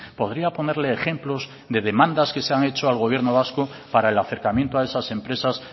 podría ponerle ejemplos de demandas que se han hecho al gobierno vasco para el acercamiento a esas empresas